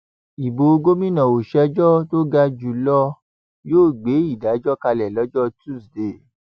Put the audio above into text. ibo gómìnà ọsẹẹjọ tó ga jù lọ yóò gbé ìdájọ kalẹ lọjọ tusidee